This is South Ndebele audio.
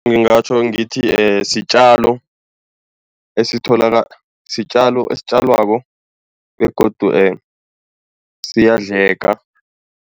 Ngingatjho ngithi sitjalo esitjalwako begodu siyadleka.